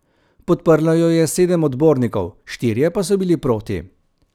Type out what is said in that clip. Podprlo jo je sedem odbornikov, štirje pa so bili proti.